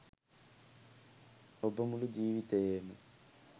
ඔබ මුළු ජීවිතයේම